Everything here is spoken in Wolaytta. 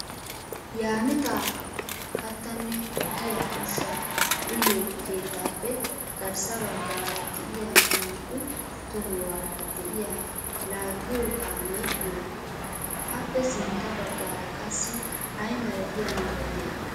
Yaamita kattanne ho"iya ushsha uyyiyo keettappe garssa baggaara de'iya naa"u tohuwaara de'iya laaggiyo kaamee oogee? Appe sintta baggaara qassi ay malatiya meray de'ii?